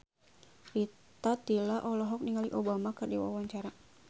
Rita Tila olohok ningali Obama keur diwawancara